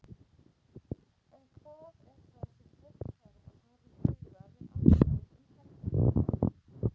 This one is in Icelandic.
En hvað er það sem fólk þarf að hafa í huga við akstur um helgina?